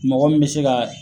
Mɔgɔ min be se ka